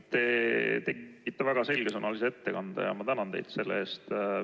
Te tegite väga selgesõnalise ettekande ja ma tänan teid selle eest.